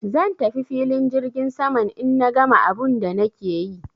Zan tafi filin jirgin saman in na gama abun da nake yi.